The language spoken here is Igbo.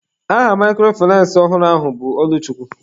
Aha microfinace ọhụrụ ahụ bụ Ọlụchukwu.